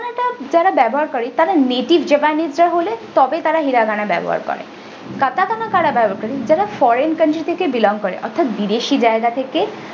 যারা ব্যবহার করে তারা netisxevanidra হলে তবেই তারা hiragana ব্যবহার করে katakana কারা ব্যবহার করে যারা foreign country থেকে belong করে অর্থাৎ বিদেশি জায়গা থেকে।